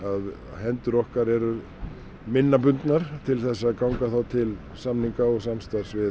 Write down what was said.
hendur okkar eru minna bundnar til þess að ganga þá til samninga og samstarfs við